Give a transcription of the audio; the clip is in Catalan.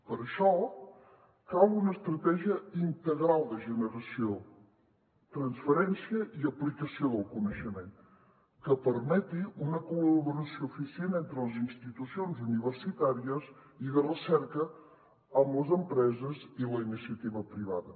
per això cal una estratègia integral de generació transferència i aplicació del coneixement que permeti una col·laboració eficient entre les institucions universitàries i de recerca amb les empreses i la iniciativa privada